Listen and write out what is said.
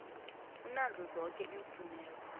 unazo zoke iimfuneko